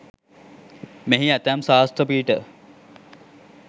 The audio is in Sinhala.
මෙහි ඇතැම් ශාස්ත්‍ර පීඨ